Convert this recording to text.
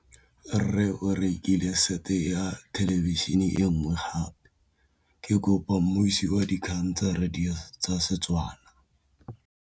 Rre o rekile sete ya thêlêbišênê e nngwe gape. Ke kopane mmuisi w dikgang tsa radio tsa Setswana.